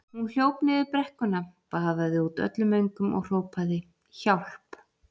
Hún hljóp niður brekkuna, baðaði út öllum öngum og hrópaði: Hjálp!